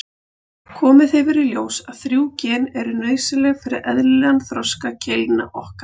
Komið hefur í ljós að þrjú gen eru nauðsynleg fyrir eðlilegan þroska keilna okkar.